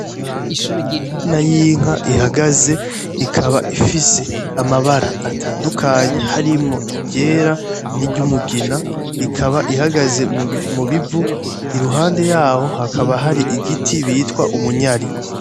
inyana y inka ihagaze ikaba ifise amabara atandukanye harimwo iryera niryumugina ikaba ihagaze mubivu iruhande yaho hakaba hari igiti bitwa umunyari